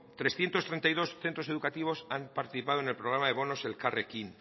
trescientos treinta y dos centros educativos han participado en el programa bonos elkarrekin